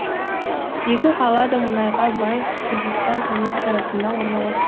екі қала да мұнайға бай хузестан провинциясында орналас